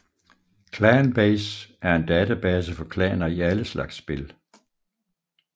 ClanBase er en database for klaner i alle slags spil